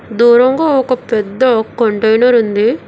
దూరంగా ఒక పెద్ద కంటైనర్ ఉంది.